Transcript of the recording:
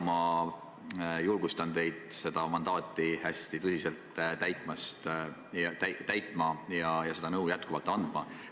Ma julgustan teid seda mandaati hästi tõsiselt kasutama ja jätkuvalt nõu andma.